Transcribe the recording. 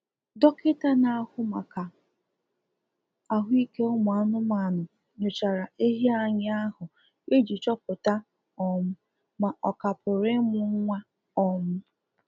Dọkịta na-ahụ maka ahụ ike ụmụ anụmanụ nyochara ehi anyị ahụ ịji chọpụta um ma ọ ka pụrụ ịmụ nwa um